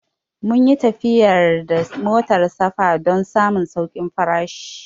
Mun yi tafiya da motar safa don samun saukin farashi